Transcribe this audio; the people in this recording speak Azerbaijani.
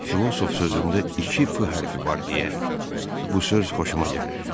Filosof sözündə iki F hərfi var deyə bu söz xoşuma gəlir.